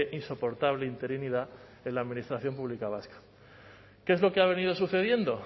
insoportable interinidad de la administración pública vasca qué es lo que ha venido sucediendo